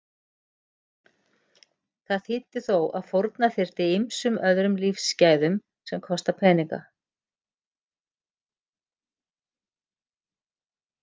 Það þýddi þó að fórna þyrfti ýmsum öðrum lífsgæðum sem kosta peninga.